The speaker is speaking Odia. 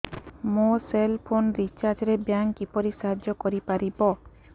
ମୋ ସେଲ୍ ଫୋନ୍ ରିଚାର୍ଜ ରେ ବ୍ୟାଙ୍କ୍ କିପରି ସାହାଯ୍ୟ କରିପାରିବ